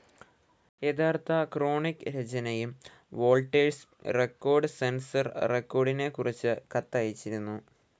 യഥാർത്ഥ ക്രോണിക്കിക് രചനയും വോൾട്ടേഴ്സ് റെക്കോർഡ്‌ സെൻസർ റെക്കോർഡിനെക്കുറിച്ച് കത്തയച്ചിരുന്നു.